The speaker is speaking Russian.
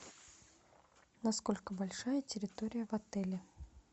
насколько большая территория в отеле